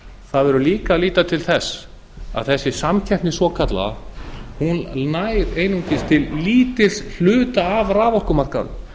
það verður líka að líta til þess að þessi samkeppni svokallaða nær einungis til lítils hluta af raforkumarkaðnum